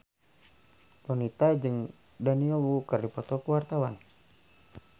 Donita jeung Daniel Wu keur dipoto ku wartawan